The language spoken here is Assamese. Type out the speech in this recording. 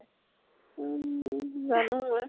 উম জানো মই।